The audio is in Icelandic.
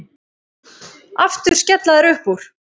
Aftur skella þær upp úr.